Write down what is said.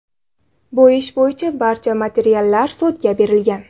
Bu ish bo‘yicha barcha materiallar sudga berilgan.